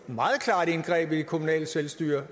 jeg er det kommunale selvstyre